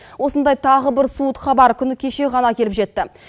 осындай тағы бір суыт хабар күні кеше ғана келіп жетті